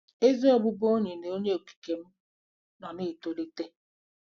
Ezi ọbụbụenyi na Onye Okike m nọ na-etolite!